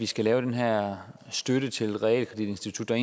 skal lave den her støtte til et realkreditinstitut der